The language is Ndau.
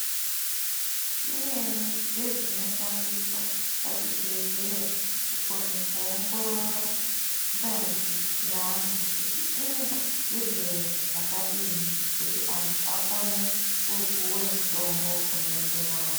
Zvimweni zvezvinoshandiswa pazvibhedhleya, kukone kuongorora ngazi yeantu kuti ine zvirwere zvakadini ,kuti antu akone kupuwe mutombo unoenderana .